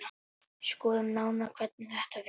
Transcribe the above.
Skoðum nánar hvernig þetta virkar.